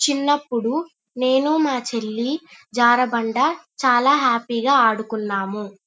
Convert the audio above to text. చిన్నప్పుడు నేను మా చెల్లి జారబండ చాల హ్యాపీ గా అడుకున్నాము.